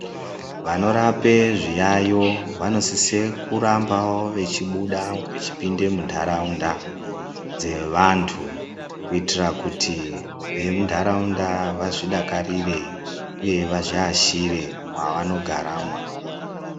Vanorape zviyayo vanosise kurambawo vechibuda vechipinde mundaraunda dzevantu, kuyitira kuti vemundaraunda vazvidakarire uye vazviashire mwavanogara mwonamwo.